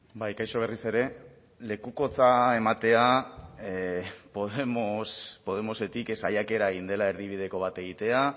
bai kaixo berriz ere lekukotza ematea podemosetik saiakera egin dela erdibideko bat egitea